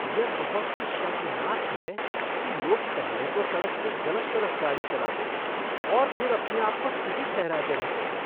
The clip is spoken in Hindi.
यह बहुत ही शर्मनाक है कि लोग पहले तो सड़क के गलत तरफ गाड़ी चलाते हैं और फिर अपने आपको सही ठहराते रहते हैं।